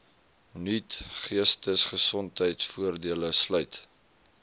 nuut geestesgesondheidvoordele sluit